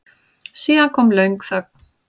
Síðan kom löng þögn.